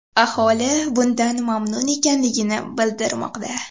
Aholi bundan mamnun ekanligini bildirmoqda.